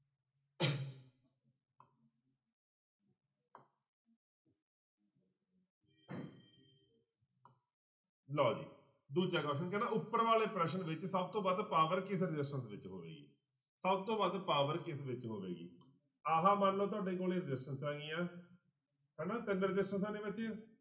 ਲਓ ਜੀ ਦੂਜਾ question ਕਹਿੰਦਾ ਉੱਪਰ ਵਾਲੇ ਪ੍ਰਸ਼ਨ ਵਿੱਚ ਸਭ ਤੋਂ ਵੱਧ power ਕਿਸ resistance ਵਿੱਚ ਹੋਏਗੀ ਸਭ ਤੋਂ ਵੱਧ power ਕਿਸ ਵਿੱਚ ਹੋਵੇਗੀ, ਆਹ ਮੰਨ ਲਓ ਤੁਹਾਡੇ ਕੋਲੇ resistance ਆਉਣੀ ਆਂ ਹਨਾ ਤਿੰਨ ਰਸਿਸਟੈਂਸਾਂ ਨੇ ਬੱਚੇੇ